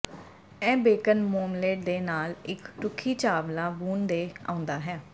ਇਹ bacon marmalade ਦੇ ਨਾਲ ਇੱਕ ਰੁੱਖੀ ਚਾਵਲਾ ਬੂਨ ਤੇ ਆਉਂਦਾ ਹੈ